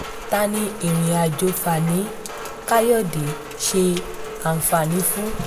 ta ni ìrìnàjò fani-kàyọ̀dé ṣe àǹfààní fún